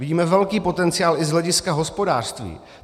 Vidíme velký potenciál i z hlediska hospodářství.